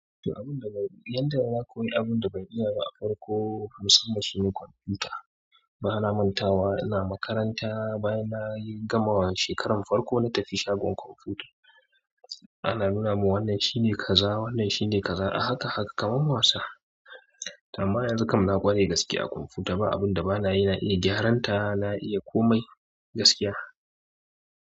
Abun da ban iya, yanzu da na koyi abun da ban iya ba farko musamman shine kwamfuta. Bana mantawa ina makaranta bayan na gama shekarar farko na tafi shagon komfuta ana nuna mun wannan shine kaza wannan shine kaza a haka haka kamar wasa. Amma yanzu kam na ƙware gaskiya a kwamfuta ba abun da banayi na iya gyaran ta na iya kome gaskiya.